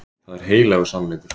Það er heilagur sannleikur.